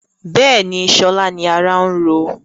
Bẹ́ẹ̀ni, sọlá ni ará ń ro